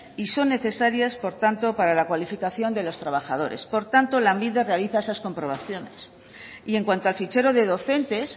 y son necesarias por tanto para la cualificación de los trabajadores por tanto lanbide realiza esas comprobaciones y en cuanto al fichero de docentes